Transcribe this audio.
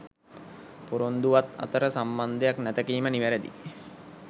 පොරොන්දුවත් අතර සම්බන්දයක් නැත කීම නිවැරදියි